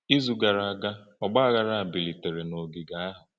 Izu gara aga, ọgbaghara bilitere n’ogige ahụ.